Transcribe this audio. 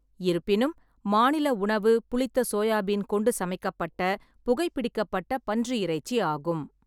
இருப்பினும், மாநில உணவு புளித்த சோயா பீன் கொண்டு சமைக்கப்பட்ட புகைபிடிக்கப்பட்ட பன்றி இறைச்சி ஆகும்.